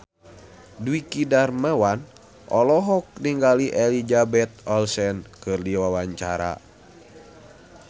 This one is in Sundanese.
Dwiki Darmawan olohok ningali Elizabeth Olsen keur diwawancara